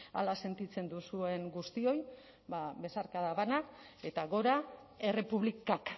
hala sentitzen duzuen guztioi besarkada bana eta gora errepublikak